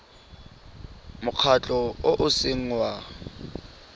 mokgatlho o o seng wa